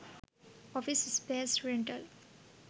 office space rental